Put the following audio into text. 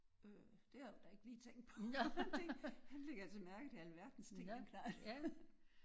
Øh det havde hun da ikke lige tænkt på var en ting. Han lægger altså mærke til alverdens ting den knejt